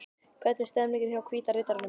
Hvernig er stemningin hjá Hvíta riddaranum?